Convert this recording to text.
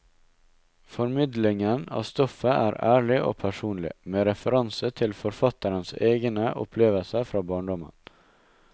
Formidlingen av stoffet er ærlig og personlig, med referanse til forfatterens egne opplevelser fra barndommen.